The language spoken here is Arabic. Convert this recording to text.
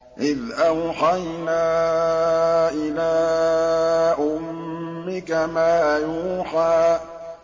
إِذْ أَوْحَيْنَا إِلَىٰ أُمِّكَ مَا يُوحَىٰ